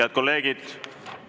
Head kolleegid!